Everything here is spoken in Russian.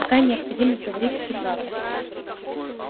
какая необходимость говорить всю правду